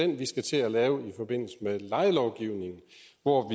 den vi skal til at lave i forbindelse med lejelovgivningen hvor